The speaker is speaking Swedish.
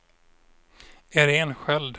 Iréne Sköld